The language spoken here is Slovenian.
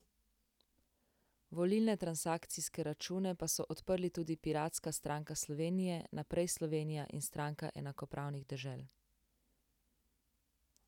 Volilne transakcijske račune pa so odprli tudi Piratska stranke Slovenije, Naprej Slovenija in Stranka enakopravnih dežel.